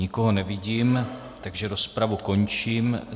Nikoho nevidím, takže rozpravu končím.